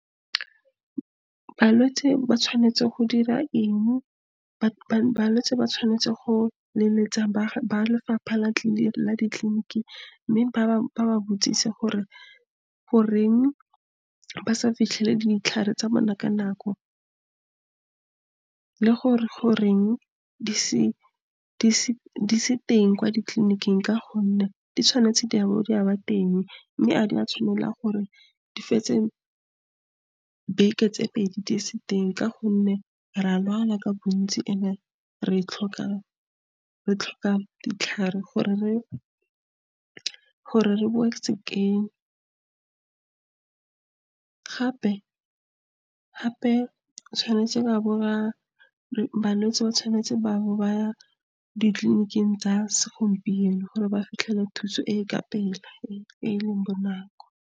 Balwetse ba tshwanetse go dira eng, balwetse ba tshwanetse go leletsa ba lefapha la ditleliniki, mme ba ba botsise gore, goreng ba sa fitlhele ditlhare tsa bona ka nako, le gore goreng di se teng kwa ditleliniking ka gonne, di tshwanetse di a bo di a ba teng, mme a di a tshwanela gore di fetse beke tse pedi di se teng, ka gonne re a lwala ka bontsi and-e re tlhoka ditlhare gore re bowe sekeng, gape tshwanetse ba bo ba, balwetse ba tshwanetse ba bo ba ditleliniking tsa segompieno gore ba fitlhele thuso e ka pela, e e leng bonako.